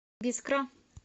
бискра